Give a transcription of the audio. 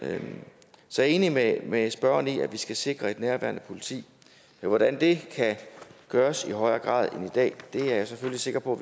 så jeg er enig med med spørgeren i at vi skal sikre et nærværende politi hvordan det kan gøres i højere grad end i dag er jeg selvfølgelig sikker på